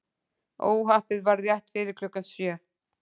Óhappið varð rétt fyrir klukkan sjö